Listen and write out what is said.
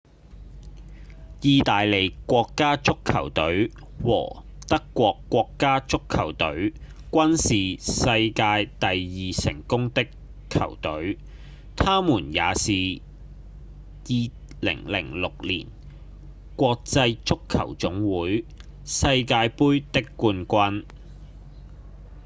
義大利國家足球隊和德國國家足球隊均是世界第二成功的球隊他們也是2006年國際足球總會世界盃的冠軍